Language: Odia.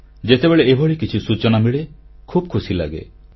ଯେତେବେଳେ ଏଭଳି କିଛି ସୂଚନା ମିଳେ ଖୁବ୍ ଖୁସିଲାଗେ